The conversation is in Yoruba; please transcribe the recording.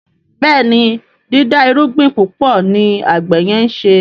Béèni dida irúgbìn púpọ ní àgbè yen nṣe.